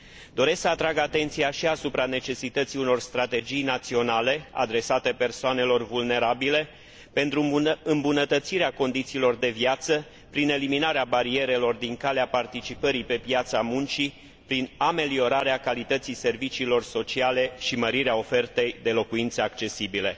Doresc să atrag atenția și asupra necesității unor strategii naționale adresate persoanelor vulnerabile pentru îmbunătățirea condițiilor de viață, prin eliminarea barierelor din calea participării pe piața muncii, prin ameliorarea calității serviciilor sociale și mărirea ofertei de locuințe accesibile.